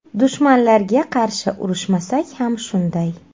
Dushmanlarga qarshi urishmasak ham shunday.